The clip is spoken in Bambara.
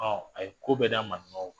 Ɔ a ye ko bɛɛ da maninkaw kan